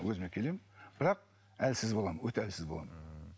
өзіме келемін бірақ әлсіз боламын өте әлсіз боламын